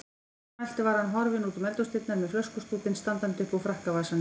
Að svo mæltu var hann horfinn útum eldhúsdyrnar með flöskustútinn standandi uppúr frakkavasanum.